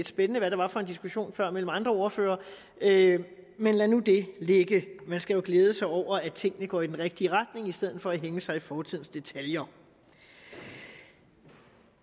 spændende hvad det var for en diskussionen før mellem andre ordførere men lad nu det ligge man skal jo glæde sig over at tingene går i den rigtige retning i stedet for at hænge sig i fortidens detaljer det